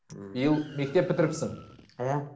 ііі биыл мектеп бітіріпсің иә